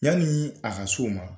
Yanni a ka so ma